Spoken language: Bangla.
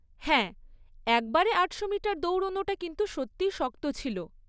হ্যাঁ, একবারে আটশো মিটার দৌড়নোটা কিন্তু সত্যি শক্ত ছিল।